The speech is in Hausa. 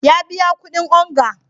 Ya biya kudin onga.